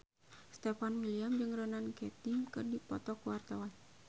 Stefan William jeung Ronan Keating keur dipoto ku wartawan